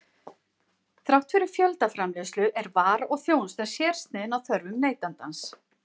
Þrátt fyrir fjöldaframleiðslu er vara og þjónusta sérsniðin að þörfum neytandans.